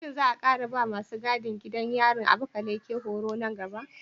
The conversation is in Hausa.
Shin za a ƙara ba wa masu gadin gidan yarin Abakaleke horo nan gaba?